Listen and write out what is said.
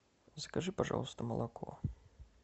закажи пожалуйста молоко